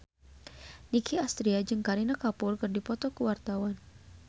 Nicky Astria jeung Kareena Kapoor keur dipoto ku wartawan